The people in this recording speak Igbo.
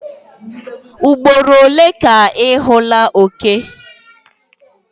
Ugboro ole ka ị hụla oke?